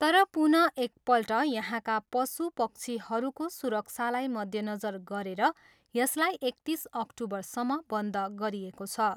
तर पुनः एकपल्ट यहाँका पशु पक्षीहरूको सुरक्षालाई मध्यनजर गरेर यसलाई एकतिस अक्टुबरसम्म बन्द गरिएको छ।